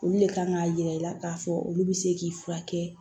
Olu le kan k'a yira i la k'a fɔ olu bi se k'i furakɛ